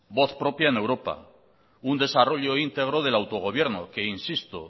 voz propia en europa un desarrollo integro del autogobierno que insisto